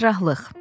Cərrahlıq.